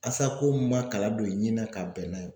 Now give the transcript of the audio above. mun ma kalan don i ɲin na ka bɛn n'a ye